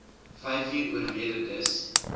vyfuur oorlede dis